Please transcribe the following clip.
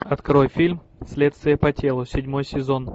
открой фильм следствие по телу седьмой сезон